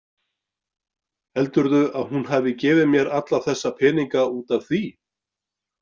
Heldurðu að hún hafi gefið mér alla þessa peninga út af því?